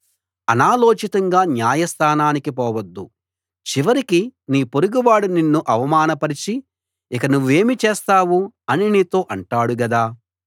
అనాలోచితంగా న్యాయ స్థానానికి పోవద్దు చివరికి నీ పొరుగువాడు నిన్ను అవమాన పరచి ఇక నువ్వేమి చేస్తావు అని నీతో అంటాడు కదా